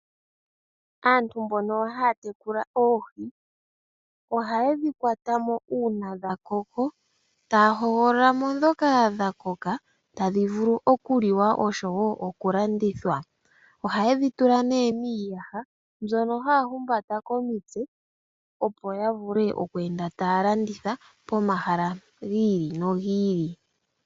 Aantu mbono haya tekula oohi ohaye dhi kwatamo uuna dhakoko , taya hogololamo ndhoka dhakoka tadhi vulu okuliwa oshowoo okulandithwa. Ohayedhi tula miiyaha mbyono haya humbata komitse , opo yavule okweenda taya landitha pomahala giili nogiili.